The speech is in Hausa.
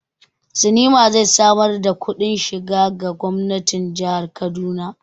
Sinima zai samar da kudin shiga ga gwamnatin jihar Kaduna.